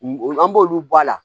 An b'olu bɔ a la